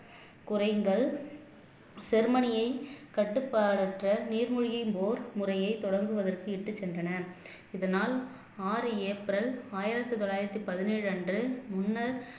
குறைந்தல் ஜெர்மனியை கட்டுப்பாடற்ற நீர்மூழ்கி போர் முறைய தொடங்குவதற்கு இட்டுச் சென்றன இதனால் ஆறு ஏப்ரல் ஆயிரத்து தொள்ளாயிரத்து பதினேழு அன்று முன்னர்